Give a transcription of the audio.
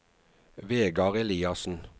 Vegard Eliassen